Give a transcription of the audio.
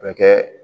A bɛ kɛ